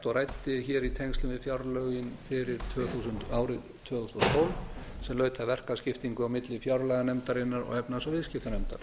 og ræddi hér í tengslum við fjárlögin fyrir árið tvö þúsund og tólf sem laut að verkaskiptingu á milli fjárlaganefndarinnar og efnahags og viðskiptanefndar